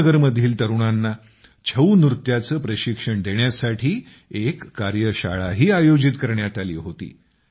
श्रीनगरमधील तरुणांना छऊ नृत्याचे प्रशिक्षण देण्यासाठी एक कार्यशाळाही आयोजित करण्यात आली होती